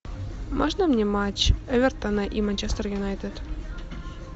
можно мне матч эвертона и манчестер юнайтед